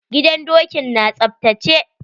Gidan dokin na tsaftace?